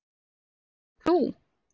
Þetta ert þú.